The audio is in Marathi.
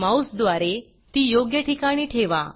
माऊसद्वारे ती योग्य ठिकाणी ठेवा